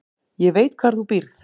Ég veit hvar þú býrð